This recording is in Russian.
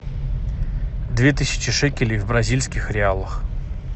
две тысячи шекелей в бразильских реалах